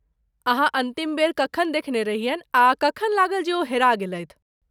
अहाँ अन्तिम बेर कखन देखने रहियनि आ कखन लागल जे ओ हेरा गेलथि?